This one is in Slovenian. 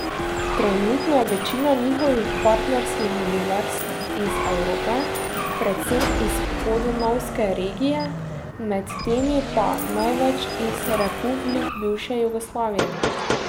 Trenutno je večina njihovih partnerskih univerz iz Evrope, predvsem iz podonavske regije, med temi pa največ iz republik bivše Jugoslavije.